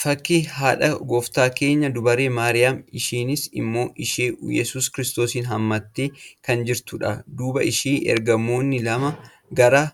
Fakkii haadha gooftaa keenyaa durbee Maariyaamiiti. Isheenis ilmoo ishee Iyyesuus kiristoos hammattee kan jirtudha. Duuba ishees ergamootni lama gara